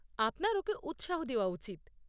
আপনার ওকে উৎসাহ দেওয়া উচিত।